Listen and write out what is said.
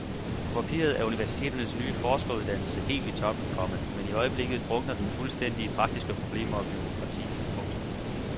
På papiret er universiteternes nye forskeruddannelse helt i top, komma men i øjeblikket drukner den fuldstændig i praktiske problemer og bureaukrati. punktum